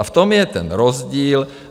A v tom je ten rozdíl.